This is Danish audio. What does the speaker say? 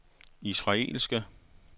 israelske